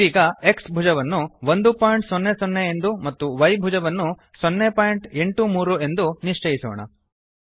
ಇದೀಗ X ಭುಜವನ್ನು 100 ಎಂದು ಮತ್ತು Y ಭುಜವನ್ನು 083 ಎಂದು ನಿಶ್ಚಯಿಸೋಣ